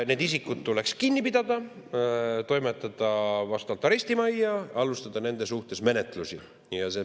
Need isikud tuleks kinni pidada, toimetada arestimajja, alustada nende suhtes menetlusi.